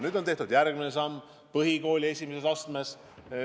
Nüüd on tehtud järgmine samm põhikooli esimeses astmes.